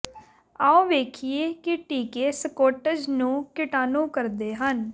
ਆਉ ਵੇਖੀਏ ਕੀ ਟੀਕੇ ਸਕੌਟਜ਼ ਨੂੰ ਕੀਟਾਣੂ ਕਰਦੇ ਹਨ